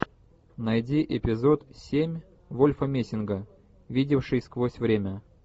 найди эпизод семь вольфа мессинга видевший сквозь время